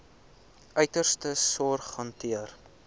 uiterste sorg hanteer